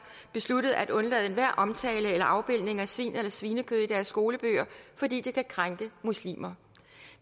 besluttet at undlade enhver omtale eller afbildning af svin eller svinekød i deres skolebøger fordi det kan krænke muslimer